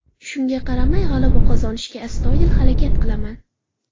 Shunga qaramay, g‘alaba qozonishga astoydil harakat qilaman.